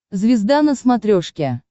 звезда на смотрешке